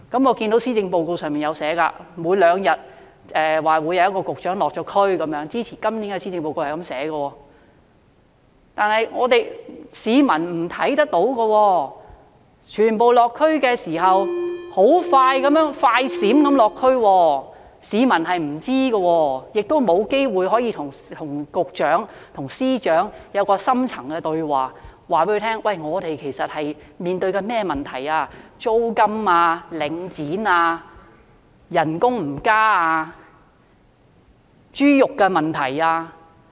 我看到施政報告提出，說每兩天便會有一名局長落區，這是寫在今年的施政報告內的，但我們市民卻看不到，因為全部落區的時間也是"快閃式"的，市民並不知道，也沒有機會可以與局長和司長進行深層對話，告訴他們市民正面對甚麼問題，包括租金、領展、工資沒有增加、豬肉價格等問題。